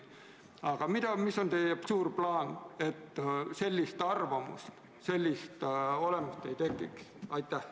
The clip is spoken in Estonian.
Aga mis on teie suur plaan, et sellist arvamust, sellist olemust ei tekiks?